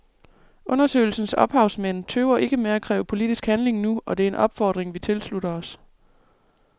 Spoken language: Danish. Undersøgelsens ophavsmænd tøver ikke med at kræve politisk handling nu, og det er en opfordring vi tilslutter os.